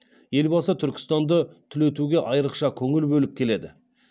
елбасы түркістанды түлетуге айрықша көңіл бөліп келеді